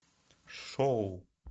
шоу